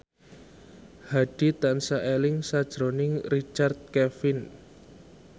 Hadi tansah eling sakjroning Richard Kevin